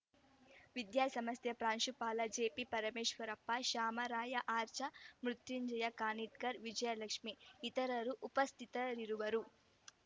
ವಿದ್ಯಾಸಂಸ್ಥೆ ಪ್ರಾಂಶುಪಾಲ ಜಿಪಿ ಪರಮೇಶ್ವರಪ್ಪ ಶಾಮರಾಯ ಆರ್ಚಾ ಮೃತ್ಯುಂಜಯ ಕಾನಿಟ್ಕರ್‌ ವಿಜಯಲಕ್ಷ್ಮೇ ಇತರರು ಉಪಸ್ಥಿತರಿರುವರು